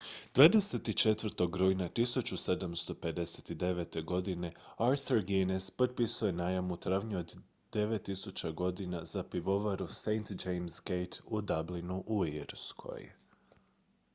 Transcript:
24. rujna 1759. godine arthur guinness potpisao je najam u trajanju od 9000 godina za pivovaru st james' gate u dublinu u irskoj